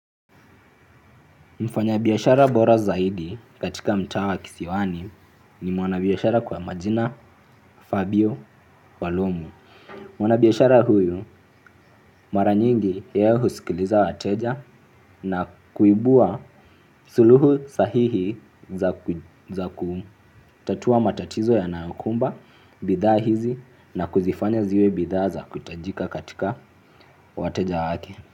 Mfanyabiashara bora zaidi katika mtaa wa kisiwani ni mwanabiashara kwa majina Fabio Walomu. Mwanabiashara huyu mara nyingi ye husikiliza wateja na kuibua suluhu sahihi za kutatua matatizo yanayokumba bidhaa hizi na kuzifanya ziwe bidhaa za kutajika katika wateja wake.